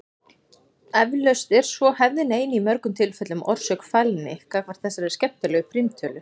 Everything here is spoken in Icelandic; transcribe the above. Eflaust er svo hefðin ein í mörgum tilfellum orsök fælni gagnvart þessari skemmtilegu prímtölu.